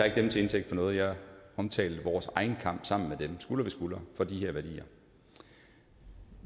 ikke dem til indtægt for noget jeg omtalte vores egen kamp sammen med dem skulder ved skulder for de her værdier